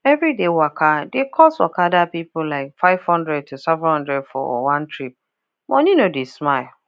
everyday waka dey cost okada people like five hundred to seven hundred for one trip money no dey smile